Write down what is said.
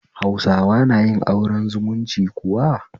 Hausawa na yin aure zumunci kuwa?